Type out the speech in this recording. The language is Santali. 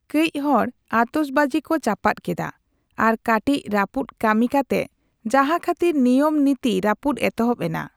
ᱠᱟᱹᱪ ᱦᱚᱲ ᱟᱛᱚᱥᱵᱟᱡᱤ ᱠᱚ ᱪᱟᱯᱟᱫ ᱠᱮᱫᱟ ᱟᱨ ᱠᱟᱴᱤᱪ ᱨᱟᱹᱯᱩᱫ ᱠᱟᱹᱢᱤ ᱠᱟᱛᱮ ᱡᱟᱦᱟᱸ ᱠᱷᱟᱹᱛᱤᱨ ᱱᱤᱭᱟᱹᱢ ᱱᱤᱛᱤ ᱨᱟᱹᱯᱩᱫ ᱮᱛᱚᱦᱚᱵ ᱮᱱᱟ ᱾